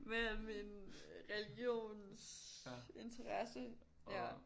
Med min religionsinteresse ja